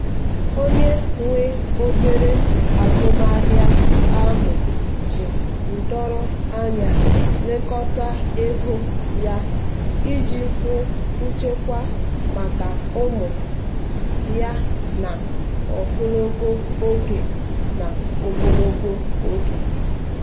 onye nwe obere azụmaahịa ahụ ji ndoro anya lekọta ego ya iji hụ nchekwa maka ụmụ ya n'ogologo oge. n'ogologo oge.